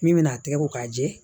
Min bɛ n'a tɛgɛ ko k'a jɛ